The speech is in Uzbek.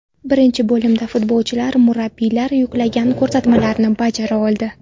Birinchi bo‘limda futbolchilar murabbiylar yuklagan ko‘rsatmalarni bajara oldi.